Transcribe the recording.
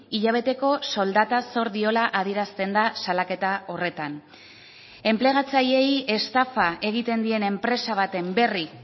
hilabeteko soldata zor diola adierazten da salaketa horretan enplegatzaileei estafa egiten dien enpresa baten berri